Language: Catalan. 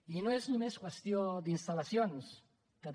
i no és només qüestió d’instal·lacions que també